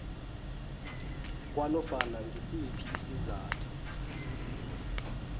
kwanofana ngisiphi isizathu